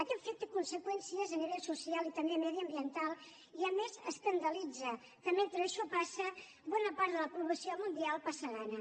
aquest fet té conseqüències a nivell social i també mediambiental i a més escandalitza que mentre això passa bona part de la població mundial passa gana